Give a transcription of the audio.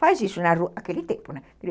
Faz isso na rua, naquele tempo, né?